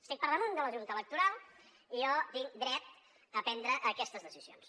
estic per damunt de la junta electoral i jo tinc dret a prendre aquestes decisions